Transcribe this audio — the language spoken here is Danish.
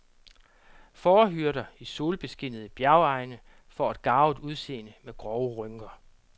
Fårehyrder i solbeskinnede bjergegne får et garvet udseende med grove rynker.